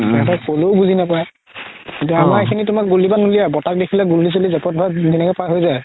সিহতক ক'লেও বুজি নাপাই এতিয়া আমাৰ এইখিনিত গুলিয়াব নোলাই বৰতাক দেখিলে গুলি চুলি বা যেনেকে পাৰ হয় যাই